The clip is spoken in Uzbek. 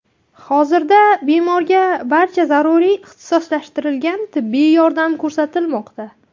Hozirgda bemorga barcha zaruriy ixtisoslashtirilgan tibbiy yordam ko‘rsatilmoqda.